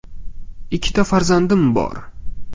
Ikkita farzandim bor.